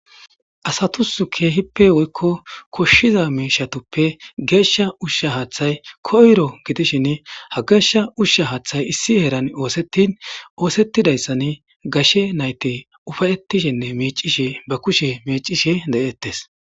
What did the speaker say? asatusu keehippe woykko koshshiza meishatuppe geeshsha ushsha haaththay koyro gidishin ha geeshsha ushsha haaththay issi heeran oosettin oosettidayssan gashe nayte ufayettishinne mecishe ba kushe mecishe de7ettes